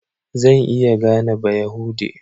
Zan iya gane Bayahude.